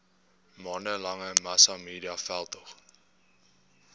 maande lange massamediaveldtog